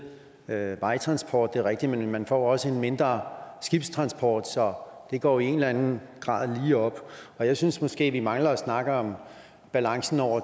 øget vejtransport det er rigtigt men man får også en mindre skibstransport så det går i en eller anden grad lige op jeg synes måske at vi mangler at snakke om balancen over